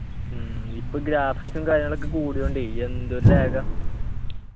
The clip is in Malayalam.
ഉം ഇപ്പൊ graphics ഉം കാര്യങ്ങളൊക്കെ കൂടിയതൊണ്ടേ എന്തൊരു lag ആ